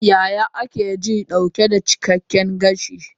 Yaya ake ji dauke da cikakken gashi?